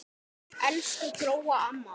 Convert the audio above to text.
Elsku Gróa amma.